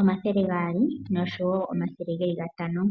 omathele gaali nosho wo omathele geli gatano.